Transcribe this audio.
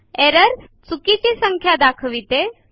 errors - चुकीच्या संख्या दाखविते